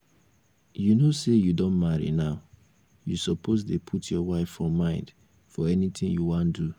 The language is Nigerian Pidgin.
you know say you don marry now you suppose dey put your wife for mind for anything you wan do